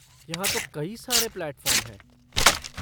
यहाँ तो कई सारे प्लैटफ़ॉर्म हैं।